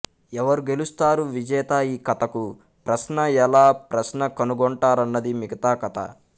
ఎవరు గెలుస్తారు విజేత ఈ కథకు ప్రశ్న ఎలా ప్రశ్న కనుగొంటారన్నది మిగతా కథ